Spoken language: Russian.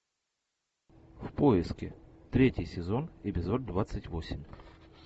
в поиске третий сезон эпизод двадцать восемь